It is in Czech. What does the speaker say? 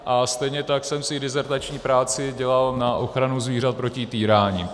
A stejně tak jsem si dizertační práci dělal na ochranu zvířat proti týrání.